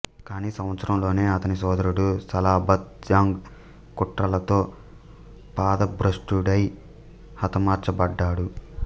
కానీ సంవత్సరంలోనే అతని సోదరుడు సలాబత్ జంగ్ కుట్రలతో పదభ్రష్టుడై హతమార్చబడ్డాడు